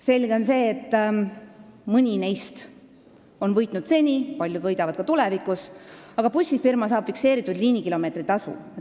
Selge on see, et mõni neist on võitnud seni, paljud võidavad ka tulevikus, aga bussifirma saab fikseeritud liinikilomeetri tasu.